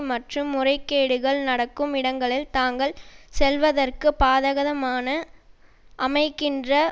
மற்றும் முறைகேடுகள் நடக்கும் இடங்களில் தாங்கள் செல்வதற்கு பாதகதமான அமைக்கின்ற